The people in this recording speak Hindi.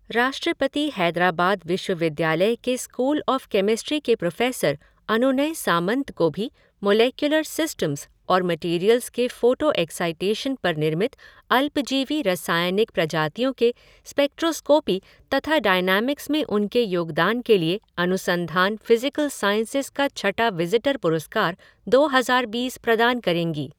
राष्ट्रपति हैदराबाद विश्वविद्यालय के स्कूल ऑफ़ केमिस्ट्री के प्रोफ़ेसर अनुनय सामंत को भी मोलेक्यूलर सिस्टम्स और मैटेरियल्स के फ़ोटो एक्साइटेशन पर निर्मित अल्पजीवी रासायनिक प्रजातियों के स्पेक्ट्रोस्कोपी तथा डायनैमिक्स में उनके योगदान के लिए अनुसंधान फ़िजिकल साईंसेज़ का छठा विज़िटर पुरस्कार दो हज़ार बीस प्रदान करेंगी।